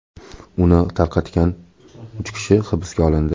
Uni tarqatgan uch kishi hibsga olindi.